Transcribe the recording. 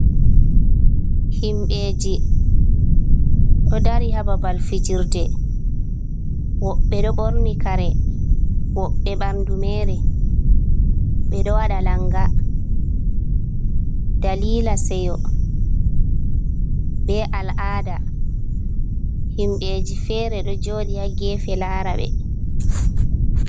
Himɓeji ɗo dari hababal fijirde, wobɓe ɗo ɓorni kare, wobɓe ɓanɗu mere, ɓe ɗo wada langa, dalila seyo be al'ada, himbeji fere ɗo joɗi ha gefe lara ɓe.